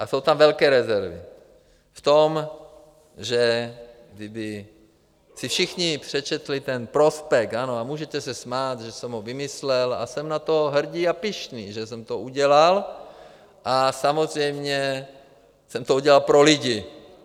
A jsou tam velké rezervy v tom, že kdyby si všichni přečetli ten prospekt, ano, a můžete se smát, že jsem ho vymyslel a jsem na to hrdý a pyšný, že jsem to udělal, a samozřejmě jsem to udělal pro lidi.